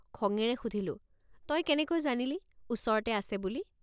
খঙেৰে সুধিলোঁ তই কেনেকৈ জানিলি ওচৰতে আছে বুলি।